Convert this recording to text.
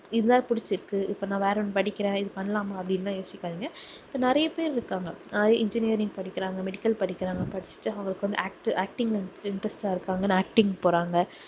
இதுதான் புடிச்சுருக்கு இப்போ நான் வேற ஒண்ணு படிக்கிறேன் இதை பண்ணலாமா அப்படின்னுலாம் யோசிக்காதீங்க நிறைய பேர் இருக்காங்க அதா~ engineering படிக்கிறாங்க medical படிக்கிறாங்க படிச்சுட்டு அவங்களுக்கு வந்து act~ acting ல வந்து interest ஆ இருக்காங்க acting போறாங்க.